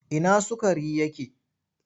Ina sukari yake?